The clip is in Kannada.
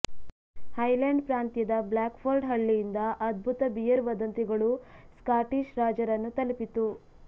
ಹೈಲ್ಯಾಂಡ್ ಪ್ರಾಂತ್ಯದ ಬ್ಲ್ಯಾಕ್ಫೋರ್ಡ್ ಹಳ್ಳಿಯಿಂದ ಅದ್ಭುತ ಬಿಯರ್ ವದಂತಿಗಳು ಸ್ಕಾಟಿಷ್ ರಾಜರನ್ನು ತಲುಪಿತು